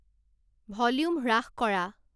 volume হ্ৰাস কৰা